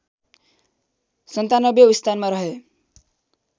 ९७ औँ स्थानमा रहे